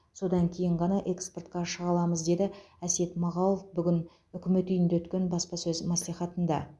содан кейін ғана экспортқа шыға аламыз деді әсет мағауов бүгін үкімет үйінде өткен баспасөз мәслихатында